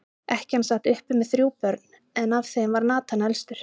Ekkjan sat uppi með þrjú börn, en af þeim var Nathan elstur.